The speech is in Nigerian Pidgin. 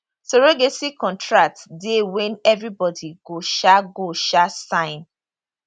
surrogacy contract dey wey evribodi go um go um sign